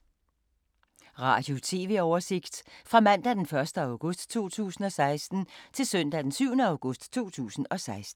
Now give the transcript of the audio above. Radio/TV oversigt fra mandag d. 1. august 2016 til søndag d. 7. august 2016